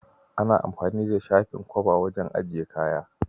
Ana anfani da shafin kwaba wajen ajiye kaya.